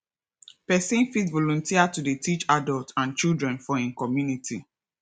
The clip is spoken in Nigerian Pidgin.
person fit volunteer to dey teach adults and children for im community